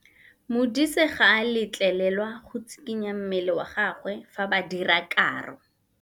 Modise ga a letlelelwa go tshikinya mmele wa gagwe fa ba dira karô.